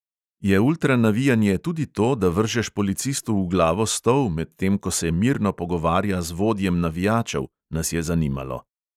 Je ultranavijanje tudi to, da vržeš policistu v glavo stol, medtem ko se mirno pogovarja z vodjem navijačev, nas je zanimalo.